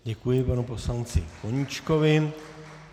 Děkuji panu poslanci Koníčkovi.